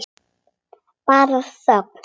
Bara þögn.